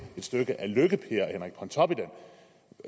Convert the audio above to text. et stykke af lykke per